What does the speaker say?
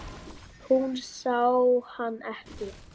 Hún sá hann ekki.